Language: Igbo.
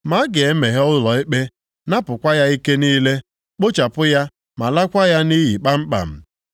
“ ‘Ma a ga-emeghe ụlọ ikpe, napụkwa ya ike niile, kpochapụ ya ma laakwa ya nʼiyi kpamkpam.